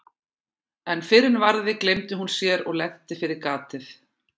En fyrr en varði gleymdi hún sér og lenti fyrir gatið.